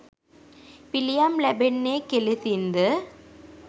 පිළියම් ලැබෙන්නේ කෙලෙසින්ද?